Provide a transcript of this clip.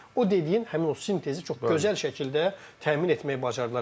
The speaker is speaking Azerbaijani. O dediyin həmin o sintezi çox gözəl şəkildə təmin etməyi bacardılar.